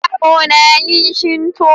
yaro na yin shinto.